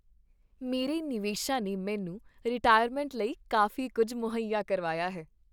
ਮੇਰੇ ਨਿਵੇਸ਼ਾਂ ਨੇ ਮੈਨੂੰ ਰਿਟਾਇਰਮੈਂਟ ਲਈ ਕਾਫ਼ੀ ਕੁੱਝ ਮੁਹੱਇਆ ਕਰਵਾਇਆ ਹੈ।